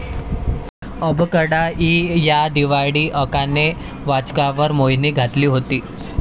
अबकडा' इ या दिवाळी अंकाने वाचकांवर मोहिनी घातली होती.